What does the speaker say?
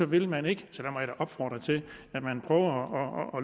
vil man ikke så jeg må opfordre til at man